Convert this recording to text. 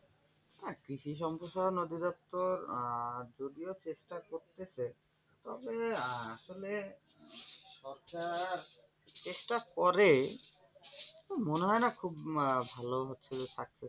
কৃষি সম্প্রসারণ অধিদপ্তর আহ যদিও চেষ্টা করতেছে তবে আহ আসলে সরকার চেষ্টা করে মনে হয় আহ না খুব ভালো হচ্ছে success.